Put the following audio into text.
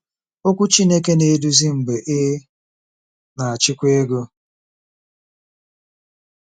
Okwu Chineke na-eduzi Mgbe Ị Na-achịkwa Ego